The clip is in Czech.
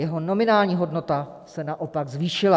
Jeho nominální hodnota se naopak zvýšila.